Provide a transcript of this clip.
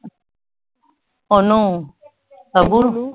ਉਹਨੂੰ ਅਬੂ ਨੂੰ